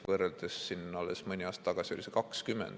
Võrdluseks: alles mõni aasta tagasi oli 20.